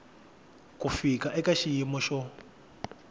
ku fika eka xiyimo xo